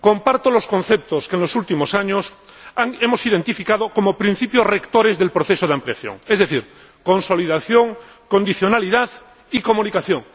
Comparto los conceptos que en los últimos años hemos identificado como principios rectores del proceso de ampliación, es decir, consolidación, condicionalidad y comunicación.